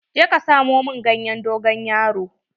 Je ka samo min ganyen dogon yaro.